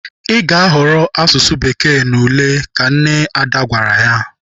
Ị ga-ahọrọ asụsụ Bekee n'ule! Ka nne Ada gwara ya.